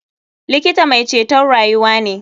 Likita mai ceton rayuwa ne.